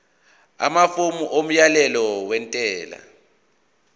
amafomu omyalelo wentela